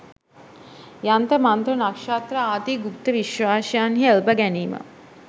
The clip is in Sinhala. යන්ත්‍ර මන්ත්‍ර, නක්‍ෂත්‍ර ආදි ගුප්ත විශ්වාසයන්හි එල්බ ගැනීම